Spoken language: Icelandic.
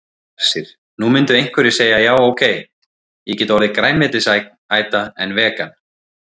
Hersir: Nú myndu einhverjir segja já ok, ég get orðið grænmetisæta en vegan?